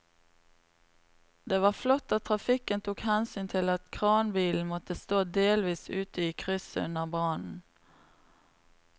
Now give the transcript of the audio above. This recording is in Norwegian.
Det var flott at trafikken tok hensyn til at kranbilen måtte stå delvis ute i krysset under brannen.